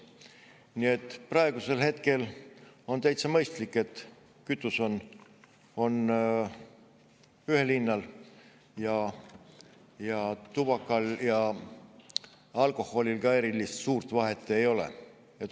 Nii et praegusel hetkel on täitsa mõistlik, et kütus on ühel hinnal, ning tubaka- ja alkoholi erilist vahet ei ole.